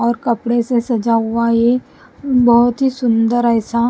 और कपड़े से सजा हुआ ये बहुत ही सुंदर ऐसा --